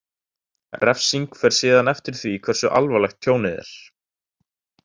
Refsing fer síðan eftir því hversu alvarlegt tjónið er.